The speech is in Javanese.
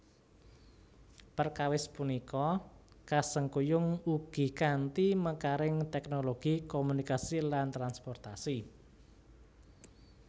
Perkawis punika kasengkuyung ugi kanthi mekaring teknologi komunikasi lan transportasi